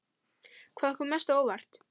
Hvað kom mest á óvart?